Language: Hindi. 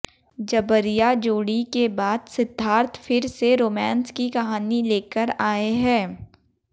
जबरिया जोड़ी के बाद सिद्धार्थ फिर से रोमांस की कहानी लेकर आए हैं